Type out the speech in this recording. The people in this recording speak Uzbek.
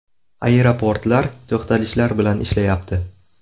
Aeroportlar to‘xtalishlar bilan ishlayapti.